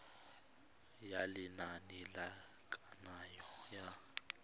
ya lenane la kananyo ya